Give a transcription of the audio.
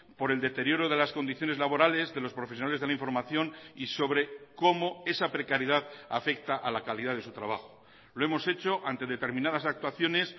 por el deterioro de las condiciones laborales de los profesionales de la información y sobre cómo esa precariedad afecta a la calidad de su trabajo lo hemos hecho ante determinadas actuaciones